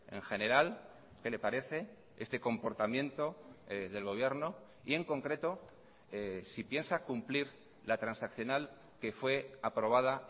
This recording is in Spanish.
en general qué le parece este comportamiento del gobierno y en concreto si piensa cumplir la transaccional que fue aprobada